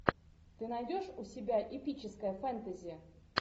ты найдешь у себя эпическое фэнтези